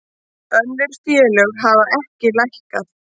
Önnur félög hafa ekki lækkað